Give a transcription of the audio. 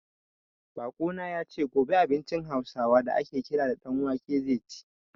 Baƙo na ya ce, gobe abincin Hausawa da a ke kira ɗan wake zai ci.